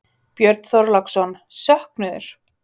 Björn Þorláksson: Söknuður?